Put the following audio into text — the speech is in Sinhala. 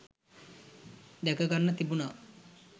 දැක ගන්න තිබුණා